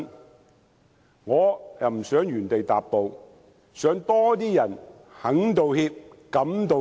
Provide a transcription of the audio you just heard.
但是，我不想原地踏步，想有更多人肯道歉，敢道歉。